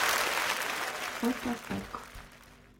фото пэк